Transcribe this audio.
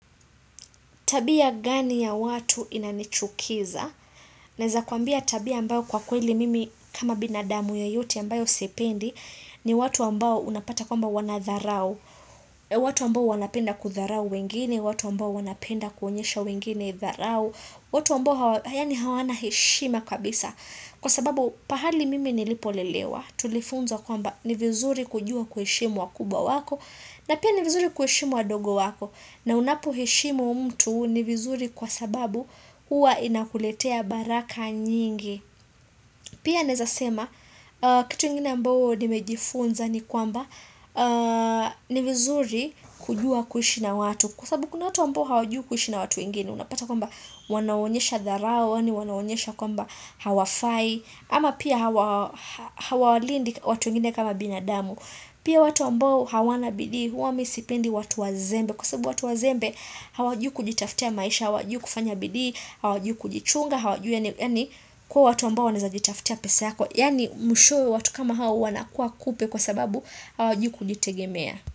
Tabia gani ya watu inanichukiza? Naweza kuambia tabia ambayo kwa kweli mimi kama binadamu yeyote ambayo si ipendi ni watu ambayo unapata kwamba wanatharau. Watu ambao wanapenda kudharau wengine, watu ambayo wanapenda kuhonyesha wengine dharau. Watu ambao yani hawana heshima kabisa. Kwa sababu pahali mimi nilipolelewa, tulifunzwa kwamba ni vizuri kujua kuheshimu wakubwa wako na pia ni vizuri kuheshimu wandogo wako. Na unapoheshimu mtu ni vizuri kwa sababu huwa inakuletea baraka nyingi Pia naezasema kitu ingine ambao nimejifunza ni kwamba ni vizuri kujua kuishi na watu Kwa sababu kuna watu ambao hawajui kuishi na watu wengine Unapata kwamba wanaonyesha dharau, wanaonyesha kwamba hawafai ama pia hawalindi watu wengine kama binadamu Pia watu ambao hawana bidii huwa mimi sipendi watu wazembe Kwa sababu watu wazembe hawajui kujitafutia maisha, hawajui kufanya bidii, hawajui kujichunga kuwa watu ambao wanawezajitafutia pesa yako Yaani mwishoe watu kama hawa wana kuwa kupe kwa sababu hawajui kujitegemea.